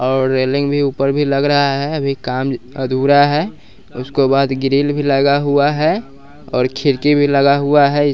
और रेलिंग भी ऊपर भी लग रहा है अभी काम अधूरा है उसको बाद ग्रील भी लगा हुआ है और खिड़की भी लगा हुआ है।